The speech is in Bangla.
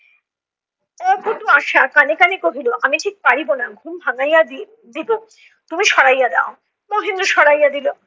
অপটু আশা কানে কানে কহিলো, আমি ঠিক পারিবো না, ঘুম ভাঙাইয়া দি~ দিবো। তুমি সরাইয়া দেও। মহেন্দ্র সরাইয়া দিলো